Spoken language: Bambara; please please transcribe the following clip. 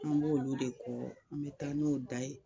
An b' olu de kɔ an bɛ taa n'o da ye